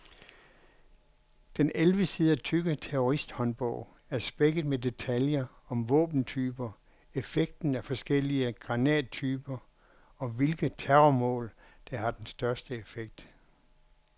Den elleve sider tykke terroristhåndbog er spækket med detaljer om våbentyper, effekten af forskellige granattyper, og hvilke terrormål der har den største effekt.